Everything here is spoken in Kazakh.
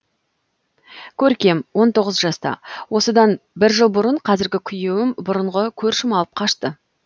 көркем он тоғыз жаста осыдан бір жыл бұрын қазіргі күйеуім бұрынғы көршім алып қашты